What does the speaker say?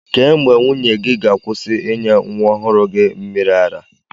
Kee mgbe nwunye gị ga-akwụsị ịnye nwa ọhụrụ gị mmịrị ara?